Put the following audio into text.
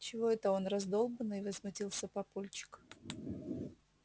чего это он раздолбанный возмутился папульчик